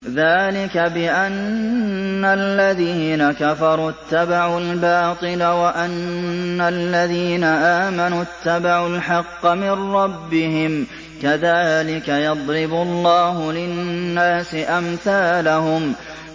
ذَٰلِكَ بِأَنَّ الَّذِينَ كَفَرُوا اتَّبَعُوا الْبَاطِلَ وَأَنَّ الَّذِينَ آمَنُوا اتَّبَعُوا الْحَقَّ مِن رَّبِّهِمْ ۚ كَذَٰلِكَ يَضْرِبُ اللَّهُ لِلنَّاسِ أَمْثَالَهُمْ